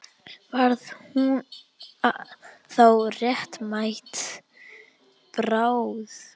Varð hún þá réttmæt bráð?